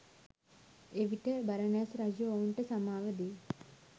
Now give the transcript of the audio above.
එවිට බරණැස් රජු ඔවුන්ට සමාව දී